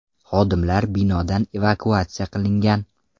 Xodimlar binodan evakuatsiya qilingan.